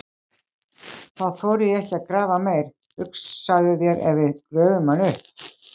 Þá þori ég ekki að grafa meir, hugsaðu þér ef við gröfum hann upp!